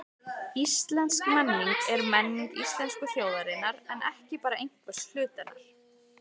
Íslensk menning er menning íslensku þjóðarinnar en ekki bara einhvers hluta hennar.